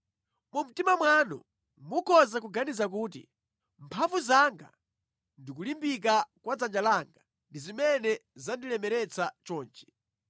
Mu mtima mwanu mukhoza kuganiza kuti, “Mphamvu zanga ndi kulimbika kwa dzanja langa ndi zimene zandilemeretsa chonchi.”